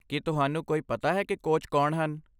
ਕੀ ਤੁਹਾਨੂੰ ਕੋਈ ਪਤਾ ਹੈ ਕਿ ਕੋਚ ਕੌਣ ਹਨ?